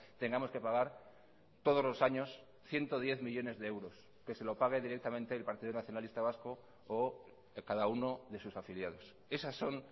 tengamos que pagar todos los años ciento diez millónes de euros que se lo pague directamente el partido nacionalista vasco o cada uno de sus afiliados esas son